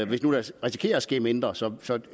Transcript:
vi nu risikerer at der sker mindre så så